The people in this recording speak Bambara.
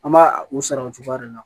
An b'a u sara o cogoya de la